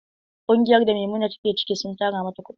Ƙungiyar da Maimuna ta ke ciki sun tara mata kuɗi.